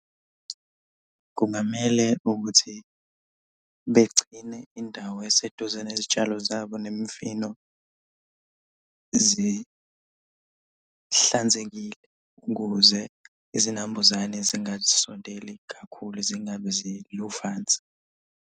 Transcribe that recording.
Kungamele ukuthi begcine indawo eseduze nezitshalo zabo nemifino zihlanzekile ukuze izinambuzane zingasondeli kakhulu. Zingabi luvanzi.